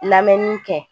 Lamɛnni kɛ